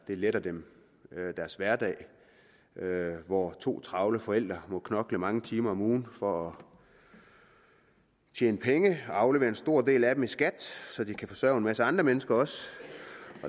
det letter deres hverdag hvor to travle forældre må knokle mange timer om ugen for at tjene penge og må aflevere en stor del af dem i skat så de også kan forsørge en masse andre mennesker